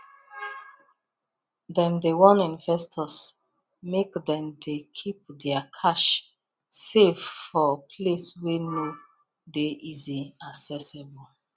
dem warn investors make dem dey keep their cash safe for place wey no dey easily accessible